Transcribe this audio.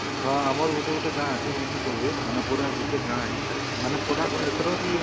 ହଁ ଆମର ଗୁଟେ ଗୁଟେ ଗାଁ ଅଛି ଯେନେ ସବୁ ମାନେ ପୁରା ଗୁଟେ ଗାଁ ହେଇକି ଖାଏ ସେମାନେ ପୁରା ଏଥର ଟିକେ